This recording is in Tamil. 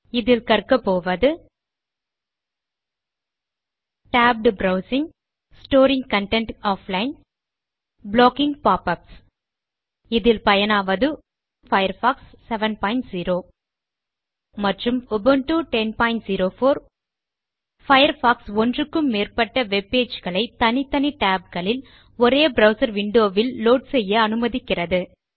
இதில் கற்கப்போவது160 tabbed browsing storing content offline blocking pop ups இதில் பயனாவது உபுண்டு 1004 மற்றும் பயர்ஃபாக்ஸ் 70 பயர்ஃபாக்ஸ் ஒன்றுக்கு மேற்பட்ட வெப் பேஜ் களை தனித்தனி tabகளில் ஒரே ப்ரவ்சர் விண்டோ வில் லோட் செய்ய அனுமதிக்கிறது